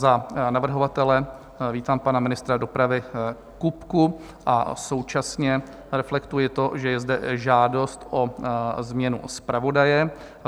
Za navrhovatele vítám pana ministra dopravy Kupku a současně reflektuji to, že je zde žádost o změnu zpravodaje.